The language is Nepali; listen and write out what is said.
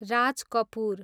राज कपूर